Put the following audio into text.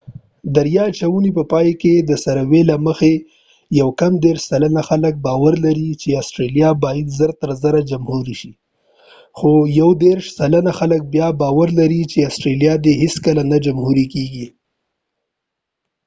د رأیه اچونې په پای کې د سروې له مخې 29 سلنه خلک باور لري چې آسټرلیا باید زر تر زره جمهوري شي خو 31 سلنه خلک بیا باور لري چې آسټرلیا دې هیڅکله نه جمهوري کېږي